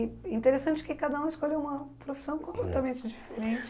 E interessante que cada um escolheu uma profissão completamente diferente.